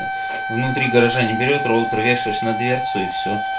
внутри гаража не берет роутер вешаешь на дверцу и всё